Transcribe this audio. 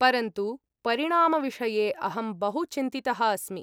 परन्तु परिणामविषये अहं बहु चिन्तितः अस्मि।